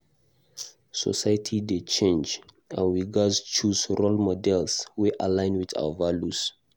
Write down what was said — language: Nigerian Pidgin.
Society dey change, and we gatz choose role models wey align with our values.